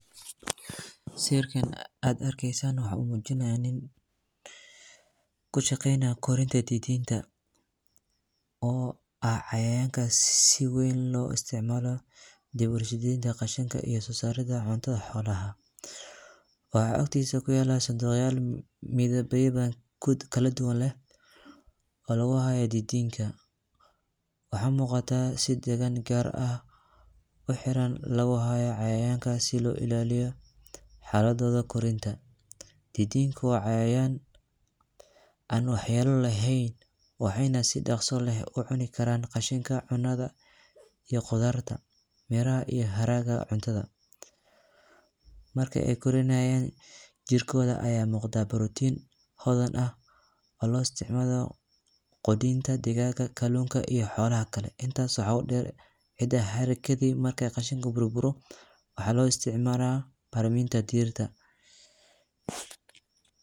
Sawirkan ad arkeysan wuxu mujinaya nin kashaqeynaya korinta didinta, oo ah cayayanka si wen loisticmalo diwarshadenta qashinka iyo sosarida cunta lacuna, waxa agtisa kuyala sanduqyal midaba kala duwan leh, oo laguxayo didinta, waxa mugata si dawici gaar ah, wax yar aya laguxaya cayayankasi, si oilaliyo xaladodha gacanta, didinka wa cayayan an wax yalo lexen, waxayna si dagsi leh kucunikaran cunada iyo qudarta, beraha iyo haraqa cuntada, marki ay korinayan jirkodha aya mugda protein xodan ah oo loisticmalo, adinta digaga iyo xolaxa kale, intas waxa udeer ee qashinka gurguro, waxa loisticmala bacraminta diirta.